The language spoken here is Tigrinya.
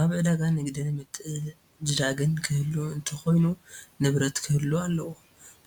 አብ ዕዳጋ ንግድን ምትዕድዳግን ክህሉ እንተኮይኑ ንብረት ክህሉ አለዎ፡፡